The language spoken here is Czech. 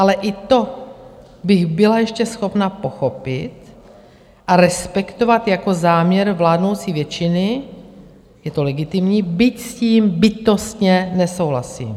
Ale i to bych byla ještě schopna pochopit a respektovat jako záměr vládnoucí většiny, je to legitimní, byť s tím bytostně nesouhlasím.